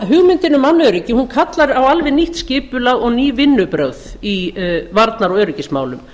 hugmyndin um mannöryggi kallar á alveg nýtt skipulag og ný vinnubrögð í varnar og öryggismálum